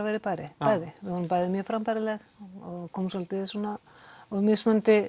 verið bæði bæði við vorum bæði mjög frambærileg komum svolítið úr mismunandi